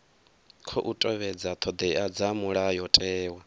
khou tevhedza thodea dza mulayotewa